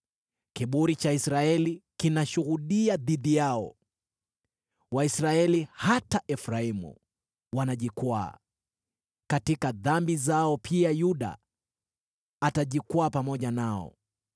Kiburi cha Israeli kinashuhudia dhidi yao; Waisraeli, hata Efraimu, wanajikwaa katika dhambi zao; pia Yuda atajikwaa pamoja nao.